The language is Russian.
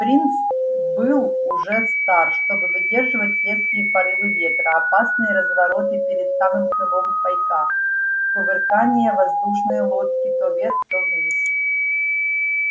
принц был уже стар чтобы выдерживать резкие порывы ветра опасные развороты перед самым крылом пайка кувыркания воздушной лодки то вверх то вниз